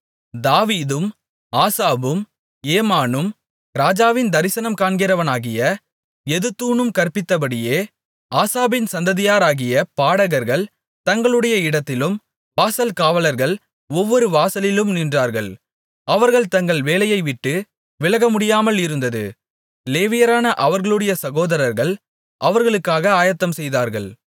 தாவீதும் ஆசாபும் ஏமானும் ராஜாவின் தரிசனம் காண்கிறவனாகிய எதுத்தூனும் கற்பித்தபடியே ஆசாபின் சந்ததியாராகிய பாடகர்கள் தங்களுடைய இடத்திலும் வாசல்காவலாளர்கள் ஒவ்வொரு வாசலிலும் நின்றார்கள் அவர்கள் தங்கள் வேலையைவிட்டு விலகமுடியாமலிருந்தது லேவியரான அவர்களுடைய சகோதரர்கள் அவர்களுக்காக ஆயத்தம் செய்தார்கள்